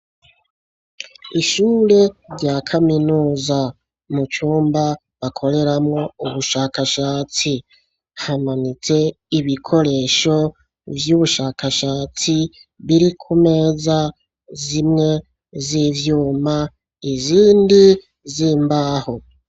Ishure rya kaminuza mu cumba bakoreramwo ubushakashatsi hamanitse ibikoresho vy'ubushakashatsi biri ku meza zimwe z'ivyuma izindi zimbaho.